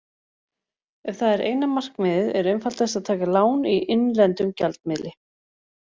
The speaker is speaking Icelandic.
Ef það er eina markmiðið er einfaldast að taka lán í innlendum gjaldmiðli.